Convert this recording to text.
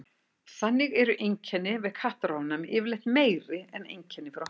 þannig eru einkenni við kattaofnæmi yfirleitt meiri en einkenni frá hundum